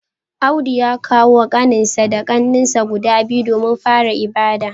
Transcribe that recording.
Audu ya kawo kaninsa da kannensa guda biyu domin fara ibada